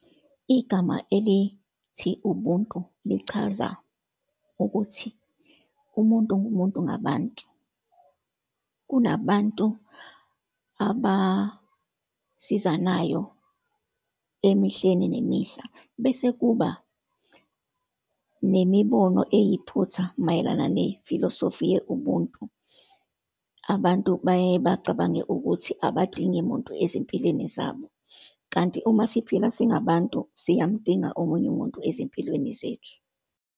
Igama elithi ubuntu, lichaza ukuthi umuntu ngumuntu ngabantu. Kunabantu abasizanayo emehleni nemihla, bese kuba nemibono eyiphutha mayelana ne filosofi ye-ubuntu. Abantu bayaye bacabange ukuthi abadingi muntu ezimpilweni zabo. Kanti uma siphila singabantu, siyamdinga omunye umuntu ezimpilweni zethu.